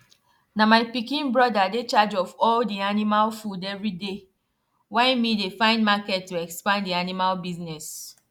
na my pikin brother dey charge of all the animal food everyday why me dey find market to expand di animal business